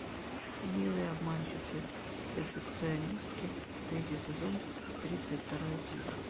милые обманщицы перфекционистки тритий сезон тридцать вторая серия